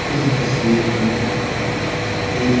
यह तस्वीर में एक--